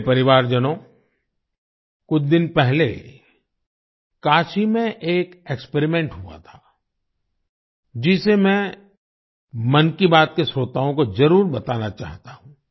मेरे परिवारजनों कुछ दिन पहले काशी में एक एक्सपेरिमेंट हुआ था जिसे मैं मन की बात के श्रोताओं को जरुर बताना चाहता हूँ